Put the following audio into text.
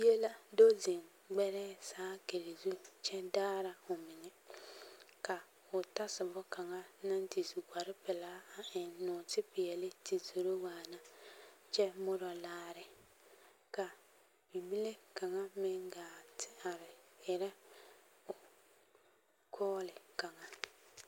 Bie la do zeŋ gbɛrɛɛ saakiri zu kyɛ daara omeŋɛ ka o tasoba kaŋa naŋ te su kpare pelaa a eŋ nɔɔte peɛle te zoro waana kyɛ morɔ laare ka bibile kaŋa meŋ gaa te are erɛ kɔɔle kaŋa.